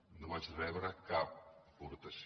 i no vaig rebre cap aportació